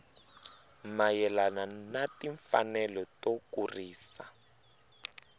mayelana na timfanelo to kurisa